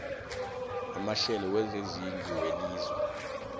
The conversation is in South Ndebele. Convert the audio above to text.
yamahlelo wezezindlu welizwe